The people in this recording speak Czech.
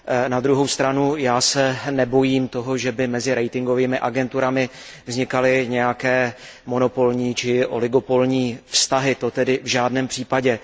Na druhou stranu já se nebojím toho, že by mezi ratingovými agenturami vznikaly nějaké monopolní či oligopolní vztahy, to tedy v žádném případě.